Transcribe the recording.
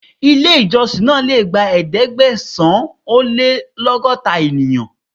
Ilé ìjọsìn náà le gba Ẹ̀ẹ́dẹ̀gbẹ̀sán-ó-lé-lọ́gọ́ta ènìyàn.